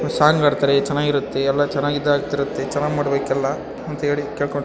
Song ಹಾಡ್ತಾರೆ ಚೆನ್ನಾಗ್ ಇರುತ್ತೆ ಎಲ್ಲಾ ಚೆನ್ನಾಗ್ ಇದ್ ಆಗ್ತಿರುತ್ತೆ ಚೆನ್ನಾಗ್ ಮಾಡಬೇಕೆಲ್ಲ ಆಹ್ಹ್ ಅಂತ ಕೇಳ್ಕೊತಿನಿ.